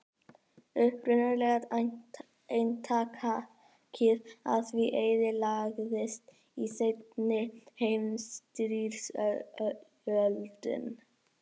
Upprunalega eintakið af því eyðilagðist í seinni heimsstyrjöldinni.